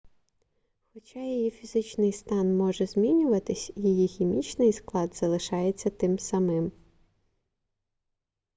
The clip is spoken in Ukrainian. хоча її фізичний стан може змінюватись її хімічний склад залишається тим самим